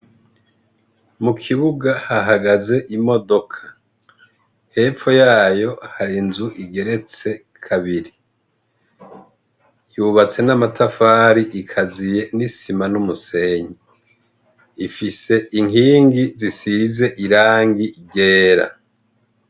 Mukibuga hahagaze imodoka, hepfo yayo har'inzu igeretse kabiri, yubatse n'amatafari ikaziye n'isima n'umusenyi, ifise inkingi zisize irangi ryera.